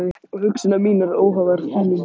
Og hugsanir mínar óháðar þínum.